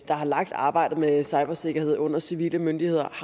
der har lagt arbejdet med cybersikkerhed under civile myndigheder